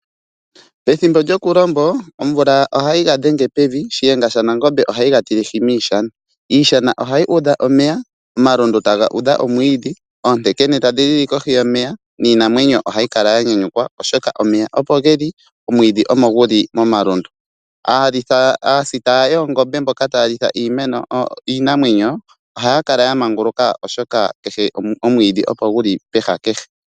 Pethimbo lyokulombo omvula ohayi ga dhenge pevi shiyenga shanangombe ohayi ga tilehi miishana. Iishana ohayi udha omeya omalundu taga udha omwiidhi ,oontekene tadhi lili kohi yomeya niinamwenyo ohayi kala ya nyanyukwa oshoka omeya opo geli omwiidhi omogulu momalundu aasita yoongombe mboka taya litha iinamwenyo ohaya kala ya manguluka oshoka omwiidhi opo guli pehala kehe.